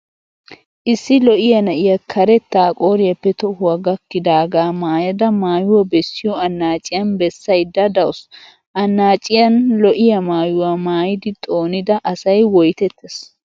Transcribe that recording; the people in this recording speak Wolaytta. Issi lo'iyaa na'iya karetta qooriyaappe tohuwa gakkidaagaa maayada maayuwa bessiyo annaaciyan bessayidda dawusu. Annaaciyan lo'iyaa maayuwa maaidi xoonida asay woytettes.